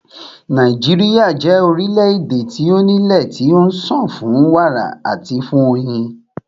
Nàíjíríà jẹ́ orílẹ̀-èdè tí o ní ilé tí ó ń sàn fún wàrà àti fún oyin.